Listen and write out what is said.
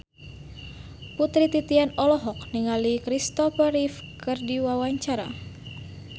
Putri Titian olohok ningali Kristopher Reeve keur diwawancara